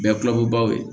Bɛɛ kuloko baw ye